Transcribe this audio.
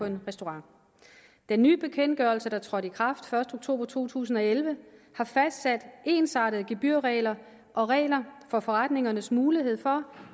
en restaurant den nye bekendtgørelse der trådte i kraft den første oktober to tusind og elleve har fastsat ensartede gebyrregler og regler for forretningernes mulighed for